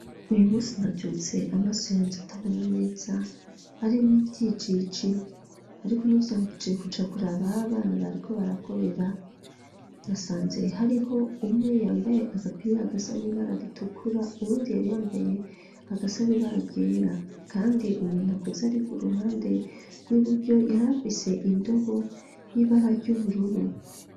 Uyu musi navyutse amaso yanje atabona neza ari mo ibyicici ariko ntivyambutie kuja kura bah abana bariko barakorera nasanze hariho umwe yambaye agapira gasa n'ibararitukura uwundi yari yambaye agasani bara ryera kandi umuntu akuze ari ku ruhande rw'iburyo yari afise indobo y'ibara ry'ubururu.